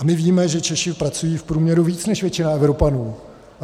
A my víme, že Češi pracují v průměru více než většina Evropanů.